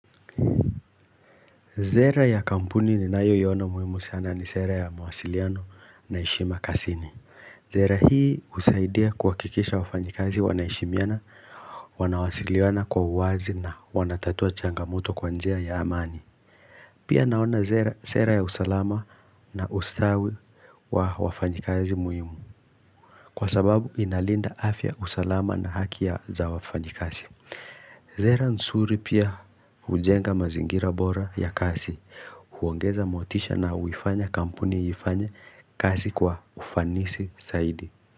Zera ya kampuni ni nayo iyona muhimu sana ni sera ya mawasiliano na heshima kasini Zera hii usaidia kuwakikisha wafanyikazi wanaheshimiana Wanawasiliana kwa uwazi na wanatatua changamoto kwa njia ya amani Pia naona zera sera ya usalama na ustawi wa wafanyikazi muhimu Kwa sababu inalinda afya usalama na haki za wafanyikazi Zera nsuri pia hujenga mazingira bora ya kasi huongeza motisha na uifanya kampuni ifanye kazi kwa ufanisi saidi.